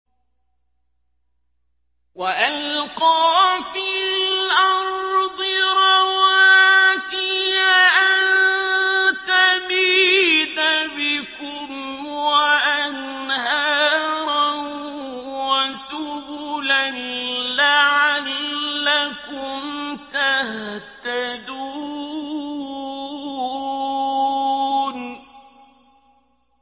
وَأَلْقَىٰ فِي الْأَرْضِ رَوَاسِيَ أَن تَمِيدَ بِكُمْ وَأَنْهَارًا وَسُبُلًا لَّعَلَّكُمْ تَهْتَدُونَ